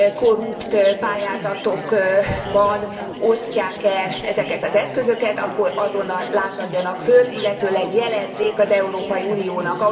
korrupt pályázatokban osztják el ezeket az eszközöket, akkor azonnal lázadjanak fel, illetőleg jelezzék az Európai Uniónak.